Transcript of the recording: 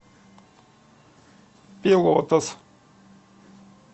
пелотас